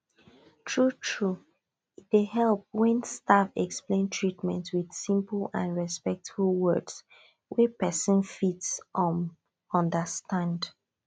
truetrue e dey help when staff explain treatment with simple and respectful words wey person fit um understand